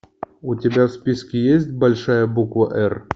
у тебя в списке есть большая буква р